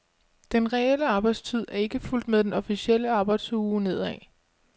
Den reelle arbejdstid er ikke fulgt med den officielle arbejdsuge nedad.